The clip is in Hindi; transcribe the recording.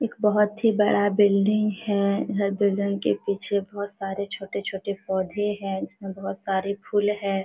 एक बहुत ही बड़ा बिल्डिंग है हर बिल्डिंग के पीछे बहुत सारे छोटे- छोटे पौधे है इसमे बहुत सारे फुल है।